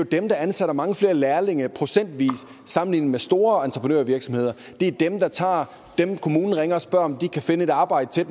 dem der ansætter mange flere lærlinge procentvis sammenlignet med store entreprenørvirksomheder det er dem der tager dem kommunen ringer og spørger om de ikke kan finde et arbejde til